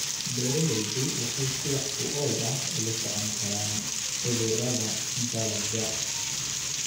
Beeraleydu waxay si wax ku ool ah ula socon karaan cudurrada dalagga.